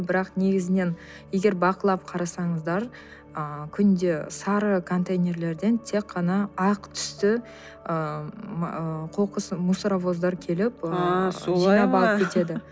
бірақ негізінен егер бақылап қарасаңыздар ы күнде сары контейнерлерден тек қана ақ түсті қоқыс мусоровоздар келіп а солай ма